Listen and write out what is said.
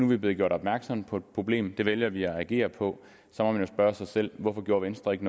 vi blevet gjort opmærksom på et problem det vælger vi at agere på så må man spørge sig selv hvorfor venstre ikke